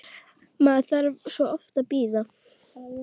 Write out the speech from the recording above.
Maður þarf svo oft að bíða!